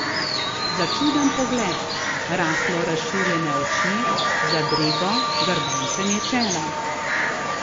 Začuden pogled, rahlo razširjene oči, zadrego, grbančenje čela.